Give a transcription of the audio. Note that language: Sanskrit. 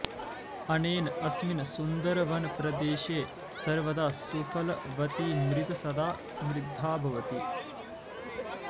अनेन अस्मिन् सुन्दरवनप्रदेशे सर्वदा सुफलवती मृत् सदा समृद्धा भवति